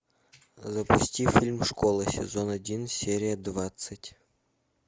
запусти фильм школа сезон один серия двадцать